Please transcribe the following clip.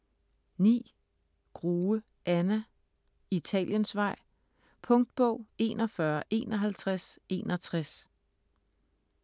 Grue, Anna: Italiensvej Punktbog 415161